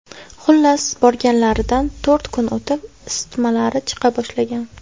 Xullas, borganlaridan to‘rt kun o‘tib isitmalari chiqa boshlagan.